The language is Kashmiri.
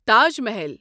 تاج محل